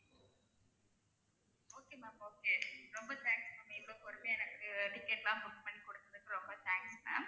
okay ma'am okay ரொம்ப thanks ma'am இவ்வளவு பொறுமையா எனக்கு ticket எல்லாம் book பண்ணி கொடுத்ததுக்கு ரொம்ப thanks ma'am